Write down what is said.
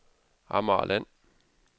Amagerland